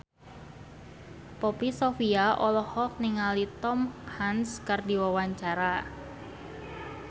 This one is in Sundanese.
Poppy Sovia olohok ningali Tom Hanks keur diwawancara